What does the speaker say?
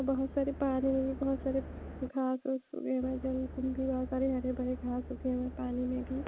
बहुत सारे पानी में भी बहुत सारे घास सुखे हुए जल कुंभी बहुत सारे हरे भरे घास सुखे हुए हैं पानी में भी--